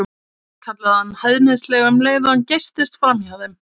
kallaði hann hæðnislega um leið og hann geystist framhjá þeim.